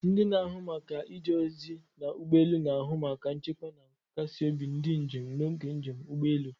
Ndị na-ahụ maka ije ozi na ụgbọ elu na-ahụ maka nchekwa na nkasi obi ndị njem n'oge njem ụgbọ elu.